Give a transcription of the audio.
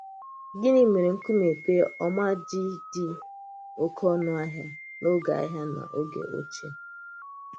Gịnị̀ mèrè nkùmé pè̩l ọ́ma ji dị oké ọnù̀ ahịa n’oge ahịa n’oge ochie?